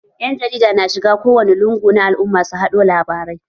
Ƴan jarida na shiga kowane lungu na al'umma su haɗo labarai